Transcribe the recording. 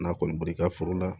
N'a kɔni bɔr'i ka foro la